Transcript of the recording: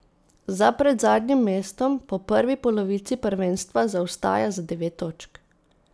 Za predzadnjim mestom po prvi polovici prvenstva zaostaja za devet točk.